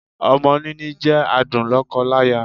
Ọmọ níní jẹ́ adùn lọ́kọ láya.